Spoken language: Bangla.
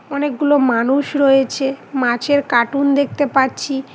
অনেকগুলো মানুষ রয়েছে মাছের কাটুন দেখতে পাচ্ছি।